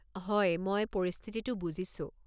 হয়, মই পৰিস্থিতিটো বুজিছোঁ।